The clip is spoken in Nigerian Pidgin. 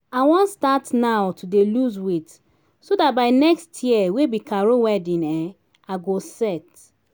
i wan start now to dey lose weight so dat by next year wey be carol wedding um i go set